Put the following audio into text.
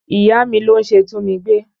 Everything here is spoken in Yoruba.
Ìyá mi ló ń ṣe túnmigbé